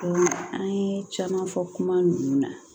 an ye caman fɔ kuma ninnu na